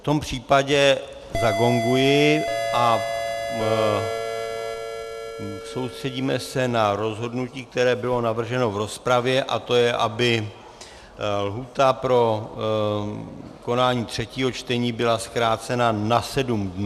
V tom případě zagonguji a soustředíme se na rozhodnutí, které bylo navrženo v rozpravě, a to je, aby lhůta pro konání třetího čtení byla zkrácena na sedm dnů.